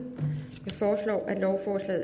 no